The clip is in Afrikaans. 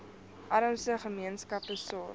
armste gemeenskappe sorg